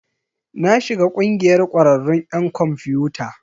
Na shiga ƙungiyar ƙwararrun 'yan kwamfiyuta.